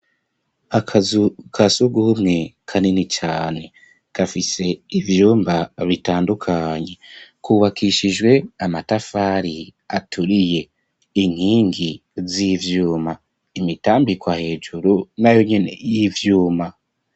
Akazu kasugume kanini cane kafise ivyumba bitandukanye. Kubakishijwe amatafari aturiye inkingi z'ivyuma imitambikwa hejuru na yonyini y'ivyuma.